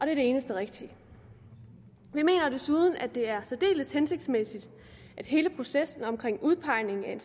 er det eneste rigtige vi mener desuden at det er særdeles hensigtsmæssigt at hele processen omkring udpegningen af en